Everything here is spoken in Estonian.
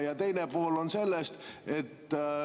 Ja teine pool küsimusest.